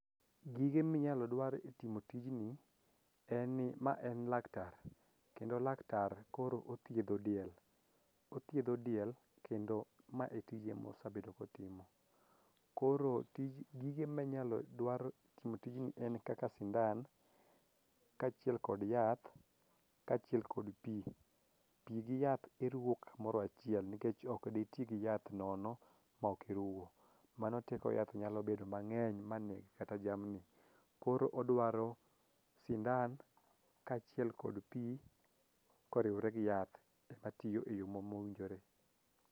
Gige minyalo dwar e timo tijni en ni ma en laktar kendo laktar koro othiedho diel, othiedho diel kendo mae tije mosabedo kotimo koro gige minyalo dwar e timo tijni en kaka sindan kaachiel kod yath kaachiel kod pi. Pi gi yath iruwo kamoro achiel nikech okditi gi yath nono maok iruwo mano teko yath nyalo bedo mang'eny ma neg kata jamni. Koro odwaro sindan kaachiel kod pi koriwre gi yath matiyo e yo mowinjore.